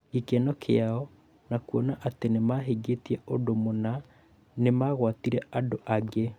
Gĩkeno kĩao na kuona atĩ nĩ mahingĩtie ũndũ mũna nĩ magwatirie andũ angĩ.